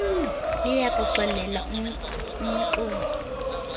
liya kuxelela umxumi